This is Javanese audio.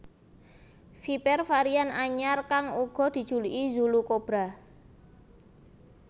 Viper varian anyar kang uga dijuluki Zulu Cobra